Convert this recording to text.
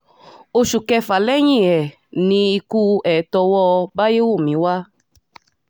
oṣù kẹfà lẹ́yìn ẹ̀ ni ikú ẹ̀ tọwọ́ báyẹ́wúmi wá